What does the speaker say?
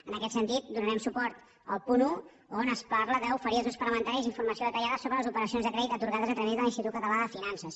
en aquest sentit donarem suport al punt un on es parla d’oferir als grups parlamentaris informació detallada sobre les operacions de crèdit atorgades a través de l’institut català de finances